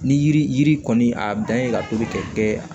Ni yiri yiri kɔni a dan ye ka tobi ka kɛ